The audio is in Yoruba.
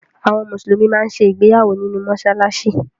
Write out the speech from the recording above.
Àwọn Mùsùlùmí máa ń ṣe ìgbéyàwó nínú mọ́ṣáláṣí